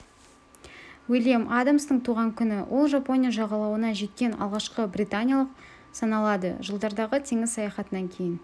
уильям адамстың туған күні ол жапония жағалауына жеткен алғашқы британиялық саналады жылдардағы теңіз саяхатынан кейін